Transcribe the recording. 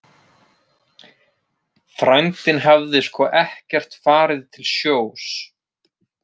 Frændinn hafði sko ekkert farið til sjós.